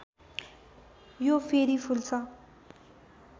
यो फेरि फुल्छ